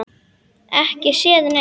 Ekki séð neitt.